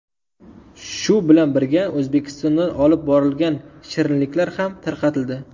Shu bilan birga, O‘zbekistondan olib borilgan shirinliklar ham tarqatildi.